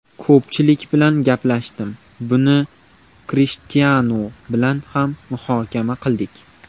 Ko‘pchilik bilan gaplashdim, buni Krishtianu bilan ham muhokama qildik.